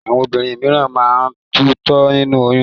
Àwọn obìnrin míràn máa ń tutọ́ nínú oyún.